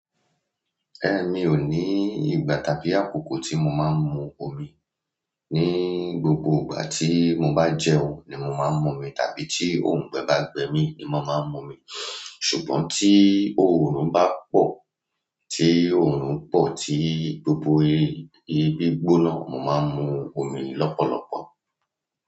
Mi ò ní ìgbà tàbí àkókò tí mo máa ń mu omi. Ni gbogbo ìgbà tí mo bá jẹun ni mo máa ń mu omi tàbí tí òǹgbẹ bá gbẹ mí ni mo máa ń mu omi. Ṣùgbọ́n tí òórùn bá pọ̀, tí òórùn pọ̀ tí gbogbo ibi gbóná, mo máa ń mu omi lọ́pọ̀lọpọ̀.